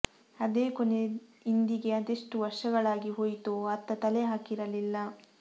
ಅದೇ ಕೊನೆ ಇಂದಿಗೆ ಅದೆಷ್ಟು ವರ್ಷಗಳಾಗಿ ಹೋಯಿತೋ ಅತ್ತ ತಲೆ ಹಾಕಿರಲಿಲ್ಲ